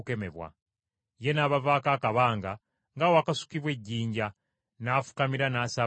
Ye n’abavaako akabanga ng’awakasukwa ejjinja, n’afukamira n’asaba nti,